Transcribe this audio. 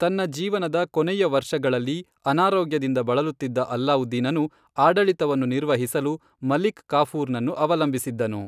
ತನ್ನ ಜೀವನದ ಕೊನೆಯ ವರ್ಷಗಳಲ್ಲಿ, ಅನಾರೋಗ್ಯದಿಂದ ಬಳಲುತ್ತಿದ್ದ ಅಲ್ಲಾವುದ್ದೀನನು, ಆಡಳಿತವನ್ನು ನಿರ್ವಹಿಸಲು ಮಲಿಕ್ ಕಾಫೂರ್ನನ್ನು ಅವಲಂಬಿಸಿದ್ದನು.